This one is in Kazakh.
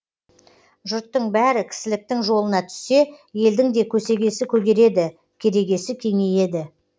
жұрттың бәрі кісіліктің жолына түссе елдің де көсегесі көгереді керегесі кеңейеді